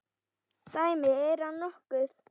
Dæmi: Er hann nokkuð?